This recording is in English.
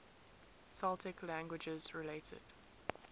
celtic languages related